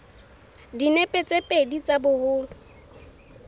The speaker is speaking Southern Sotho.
dinepe tse pedi tsa boholo